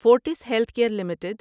forts healthcare limited